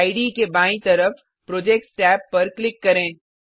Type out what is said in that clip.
इडे के बायीं तरफ प्रोजेक्ट्स टैब पर क्लिक करें